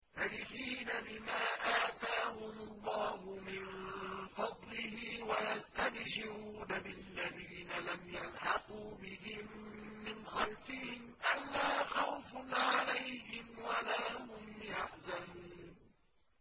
فَرِحِينَ بِمَا آتَاهُمُ اللَّهُ مِن فَضْلِهِ وَيَسْتَبْشِرُونَ بِالَّذِينَ لَمْ يَلْحَقُوا بِهِم مِّنْ خَلْفِهِمْ أَلَّا خَوْفٌ عَلَيْهِمْ وَلَا هُمْ يَحْزَنُونَ